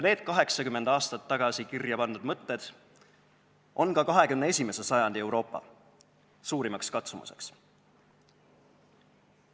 Need 80 aastat tagasi kirja pandud mõtted on ka 21. sajandil Euroopa suurimaks katsumuseks.